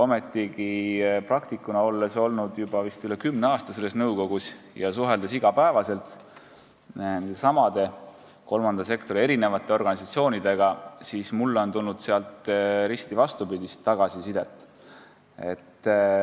Mina olen vist juba üle kümne aasta selles nõukogus olnud ja iga päev nendesamade kolmanda sektori organisatsioonidega suheldes olen saanud risti vastupidist tagasisidet.